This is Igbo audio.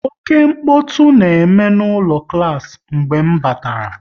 Oké mkpọtụ na-eme n'ụlọ klas mgbe m batara